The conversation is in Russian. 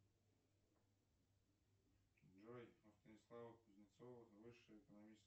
джой у станислава кузнецова высшее экономическое